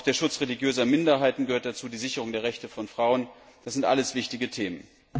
Auch der Schutz religiöser Minderheiten gehört dazu, die Sicherung der Rechte von Frauen, das sind alles wichtige Themen.